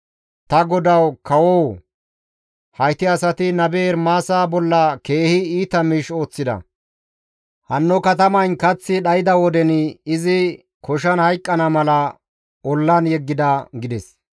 «Ta godawu kawoo! Hayti asati nabe Ermaasa bolla keehi iita miish ooththida; hanno katamayn kaththi dhayda woden izi koshan hayqqana mala ollan yeggida» gides.